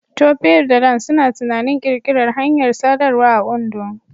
Tope da Dan suna tunanin ƙirƙirar hanyar sadarwa a Ondo.